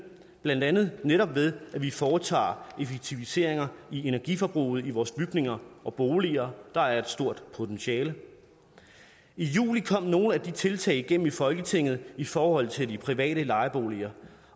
blandt andet netop ved at vi foretager effektiviseringer af energiforbruget i vores bygninger og boliger der er et stort potentiale i juli kom nogle af de tiltag igennem i folketinget i forhold til de private lejeboliger